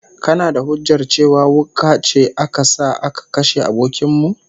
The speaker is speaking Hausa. Kana da hujjar cewa wuka ce aka sa aka kashe abokin mu?